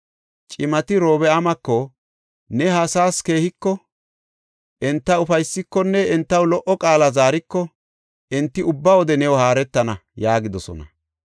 Cimati Orobi7aamako, “Ne ha asaas keehiko, enta ufaysikonne entaw lo77o qaala zaariko enti ubba wode new haaretana” yaagidosona.